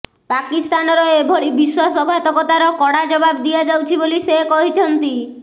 ପାକିସ୍ତାନର ଏଭଳି ବିଶ୍ୱାସଘାତକତାର କଡ଼ା ଜବାବ ଦିଆଯାଉଛି ବୋଲି ସେ କହିଛନ୍ତି